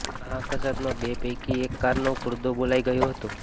આ અકસ્માતમાં બે પૈકી એક કારનો કૂડદો બોલાઇ ગયો હતો